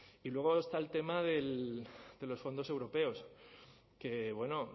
y luego está el tema de los fondos europeos que bueno